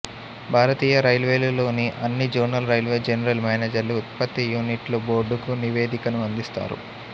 భారతీయ రైల్వేలు లోని అన్ని జోనల్ రైల్వే జనరల్ మేనేజర్లు ఉత్పత్తి యూనిట్లు బోర్డుకు నివేదికను అందిస్తారు